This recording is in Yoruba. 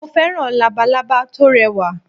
Mo féràn Labalábá tórẹ wà